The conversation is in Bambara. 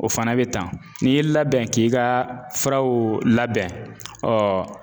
O fana bɛ tan n'i y'i labɛn k'i ka furaw labɛn